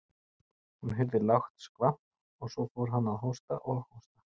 Hún heyrði lágt skvamp og svo fór hann að hósta og hósta.